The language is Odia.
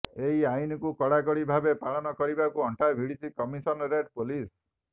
ଏହି ଆଇନକୁ କଡା କଡି ଭାବେ ପାଳନ କରିବାକୁ ଅଣ୍ଟା ଭିଡିଛି କମିସନରେଟ ପୋଲିସ